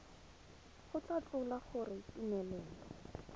go tla tlhola gore tumelelo